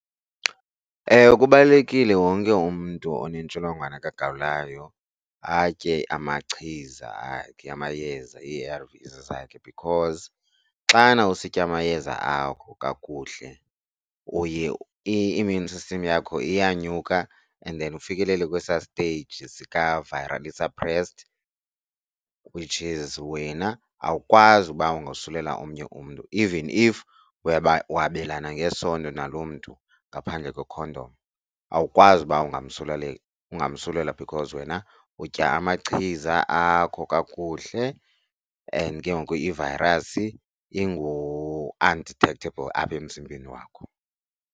Ewe, kubalulekile wonke umntu onentsholongwane kagawulayo atye amachiza akhe, amayeza ii-A_R_Vs zakhe because xana usitya amayeza akho kakuhle uye i-immune system yakho iyanyuka and then ufikelele kwesaa steyiji sika-virally supressed which is wena awukwazi uba ungosulela omnye umntu, even if wabelana ngesondo naloo mntu ngaphandle kwekhondom, awukwazi uba ungamsulela because wena utya amachiza akho kakuhle and ke ngoku i-virus ingu-undetectable apha emzimbeni wakho.